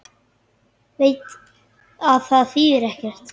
Veit að það þýðir ekkert.